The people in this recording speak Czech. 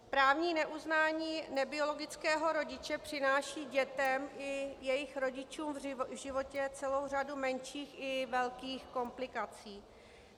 Právní neuznání nebiologického rodiče přináší dětem i jejich rodičům v životě celou řadu menších i velkých komplikací.